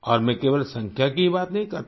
और मैं केवल संख्या की ही बात नहीं करता